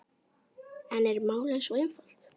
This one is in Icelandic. En er málið svo einfalt?